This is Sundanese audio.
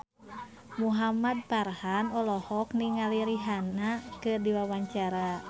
Muhamad Farhan olohok ningali Rihanna keur diwawancara